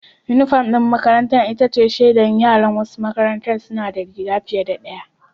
Unifom ɗin makarantar ita ce shaidar yara, wasu makarantun suna da rigar fiye da ɗaya.